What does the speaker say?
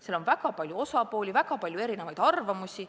Seal on väga palju osapooli, väga palju erinevaid arvamusi.